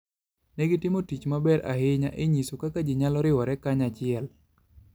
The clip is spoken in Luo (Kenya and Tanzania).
Ne gitimo tich maber ahinya e nyiso kaka ji nyalo riwore kanyachiel.